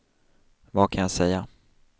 vad kan jag säga